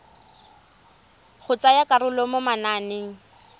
go tsaya karolo mo mananeng